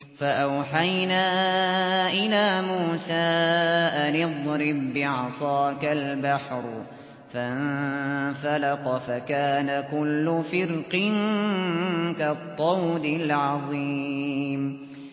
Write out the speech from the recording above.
فَأَوْحَيْنَا إِلَىٰ مُوسَىٰ أَنِ اضْرِب بِّعَصَاكَ الْبَحْرَ ۖ فَانفَلَقَ فَكَانَ كُلُّ فِرْقٍ كَالطَّوْدِ الْعَظِيمِ